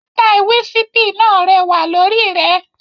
Sítáì wísípì náà rẹwà lórí rẹ.